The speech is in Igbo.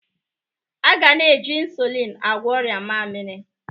A ga na-eji ịnsụlịn agwọ ọrịa mmaamiri.